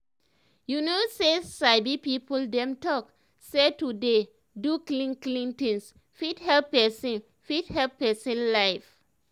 you know say sabi people dem talk say to dey do clean clean things fit help pesin fit help pesin life